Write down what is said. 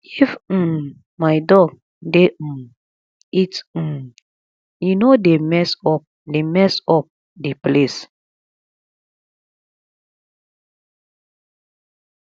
if um my dog dey um eat um e no dey mess up dey mess up the place